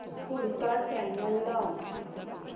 पुढचा चॅनल लाव